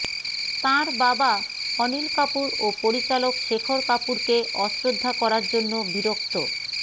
তাঁর বাবা অনিল কাপুর ও পরিচালক শেখর কাপুরকে অশ্রদ্ধা করার জন্য বিরক্ত